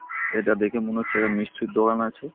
এটা দেখে মনে হচ্ছে এটা মিষ্টির দোকান আছে ।